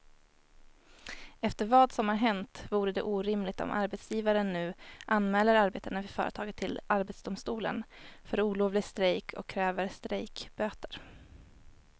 Efter vad som har hänt vore det orimligt om arbetsgivaren nu anmäler arbetarna vid företaget till arbetsdomstolen för olovlig strejk och kräver strejkböter.